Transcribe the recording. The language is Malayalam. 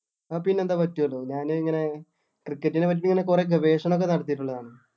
പിന്നെന്താ പറ്റുവല്ലോ ഞാന് ഇങ്ങനെ cricket നെ പറ്റി ഇങ്ങനെ കൊറേ ഗവേഷണം ഒക്കെ നടത്തീട്ട് ഉള്ളതാണ്.